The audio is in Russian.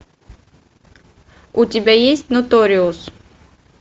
у тебя есть нуториус